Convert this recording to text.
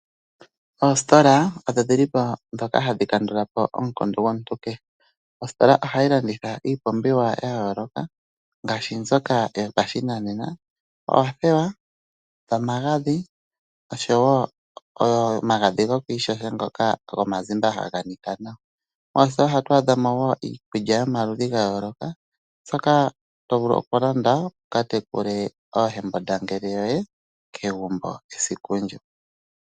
Oositola odho dhi li po ndhoka hadhi kandula po omukundu gomuntu kehe. Ositola ohayi landitha iipumbiwa ya yooloka ngaashi mbyoka yopashinanena: oothewa, omagadhi oshowo omagadhi goku ishasha ngoka gomazimba haga nika nawa. Moositola ohatu adha mo wo iikulya yomaludhi ga yooloka mbyoka to vulu okulanda wu ka tekule oohembundangele yoye kegumbo esiku ndyoka.